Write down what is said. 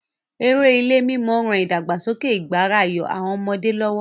Eré ilé-mímọ ran ìdàgbàsókè ìgbáràyọ àwọn ọmọdé lọ́wọ́.